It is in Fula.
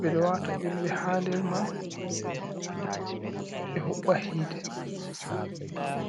beɗo wata ƴulɓe ha der man be huɓɓa hite.